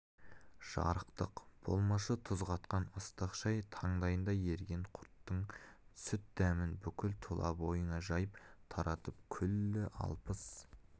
жарықтық болмашы тұз қатқан ыстық шай таңдайында еріген құрттың сүт дәмін бүкіл тұла бойына жайып таратып күллі алпыс